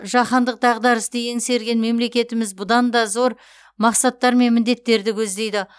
жаһандық дағдарысты еңсерген мемлекетіміз бұдан да зор мақсаттар мен міндеттерді көздейді